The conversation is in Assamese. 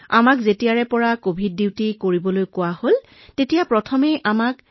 যেতিয়া আমাক এই কভিড কৰ্তব্য কৰিবলৈ কোৱা হৈছিল প্ৰথমতে আমাক পিপিই কিট পিন্ধিবলৈ কোৱা হৈছিল যিটো অতি কঠিন